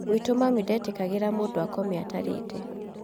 Gwitu mami ndetĩkĩraga mũndũ akome atarĩte